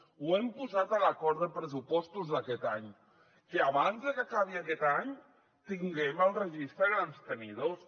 ho hem posat a l’acord de pressupostos d’aquest any que abans de que acabi aquest any tinguem el registre de grans tenidors